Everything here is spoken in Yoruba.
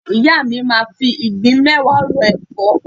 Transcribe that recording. Ìyá mi máa fi ìgbín mẹ́wàá ro ẹ̀fọ́.